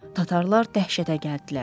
Tatarlar dəhşətə gəldilər.